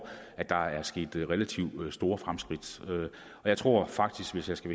at der er sket relativt store fremskridt jeg tror faktisk hvis jeg skal